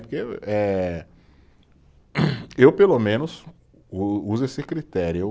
Porque eu, eh eu pelo menos, uso esse critério, eu.